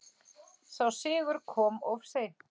Sá sigur kom of seint.